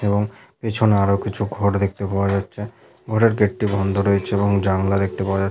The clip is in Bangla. এবং পেছনে আর কিছু ঘর দেখতে পাওয়া যাচ্ছে। ঘরের গেট -টি বন্ধ রয়েছে এবং জানালা দেখতে পাওয়া যাচ--